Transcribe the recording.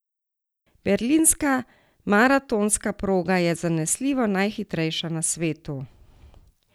Berlinska maratonska proga je zanesljivo najhitrejša na svetu.